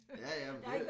Ja ja men det